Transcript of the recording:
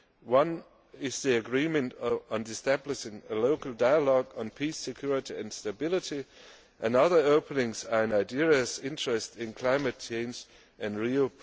One is the agreement on establishing a local dialogue on peace, security and stability, and others openings are Nigeria's interest in climate change and